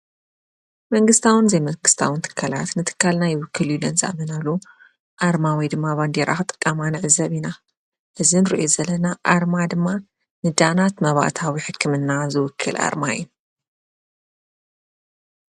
መንግስታዊ ዘይመንግስታዊን ትካላት ንትካልና ይውክል እዩ ኢለን ዝኣመናሉ ኣርማ ወይ ድማ ባንዴራ ክጥቀማ ንዕዘብ ኢና። እዙይ እንርእዮ ዘለና ኣርማ ድማ ንዳናት መባእታዊ ሕክምና ዝውክል ኣርማ እዩ።